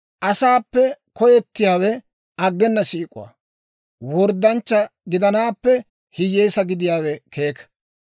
Asaappe koyettiyaawe aggena siik'uwaa; worddanchcha gidanaappe hiyyeesaa gidiyaawe keeka.